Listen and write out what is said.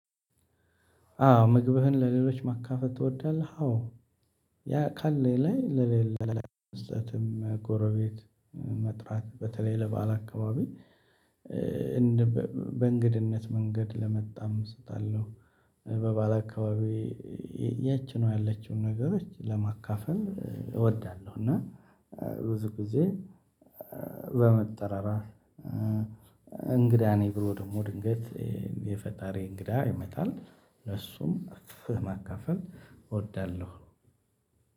አዎ ምግብህን ለሌሎች ማካፈል ትወዳለህ አዎ ያ ቃሌ ላይ ለሌላ ለሌላ ስህተትም ጎረቤት መጥራት በተለይ ለባለ አካባቢ በእንግድነት መንገድ ለመጣም እሰጣለሁ በበዓል አካባቢ ያቺን ያለችውን ነገሮች ለማካፈል እወዳለሁ እና ብዙ ጊዜ በመጠራራት እንግዳ ነኝ ብሎ ደግሞ ድንገት የፈጣሪ እንግዳ ይመጣል ለሱም እኩል ማካፈል እወዳለሁ።